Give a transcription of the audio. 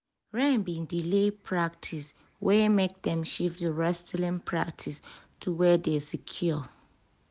rain bin delay practice wey make dem shift di wrestling practice to where dey secure